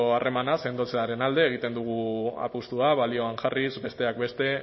harremana sendotzearen alde egiten dugu apustua balioan jarriz besteak beste